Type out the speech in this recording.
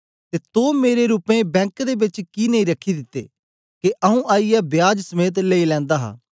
ते तो मेरे रूपये बेंक दे बेच कि नेई रखी दिते के आऊँ आईयै ब्याज समेत लेई लैंदा हा